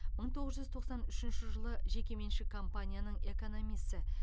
мың тоғыз жүз тоқсан үшінші жылы жекеменшік компанияның экономисі